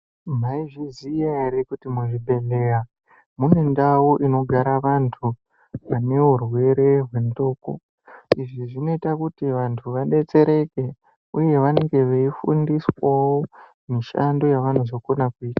Mwaizviziya ere kuti muzvibhehleya munendau inogara vanhu vane urwere hwenxlondo izvi zvinoita kuti vanhu vadetsereke uye vanenge veifundiswawo mishando yavanozogona kuita.